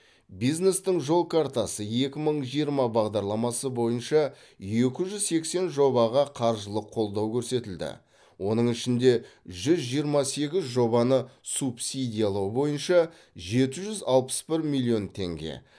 бизнестің жол картасы екі мың жиырма бағдарламасы бойынша екі жүз сексен жобаға қаржылық қолдау көрсетілді оның ішінде жүз жиырма сегіз жобаны субсидиялау бойынша жеті жүз алпыс бір миллион теңге